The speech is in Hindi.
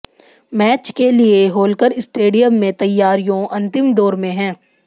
मैच के लिए होलकर स्टेडियम में तैयारियों अंतिम दौर में हैं